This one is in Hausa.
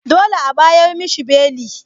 Dolle a'bayar mishi beli.